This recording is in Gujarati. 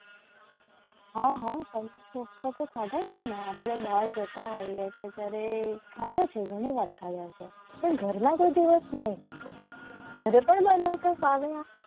હા હા પનીર કોફતા જતા હોઈએ છીએ. ત્યારે ખાધા છે ઘણીવાર આવ્યા છે. પણ ઘરના કોઈ દિવસ નહીં કાપતા ઘરે પણ બનાવતા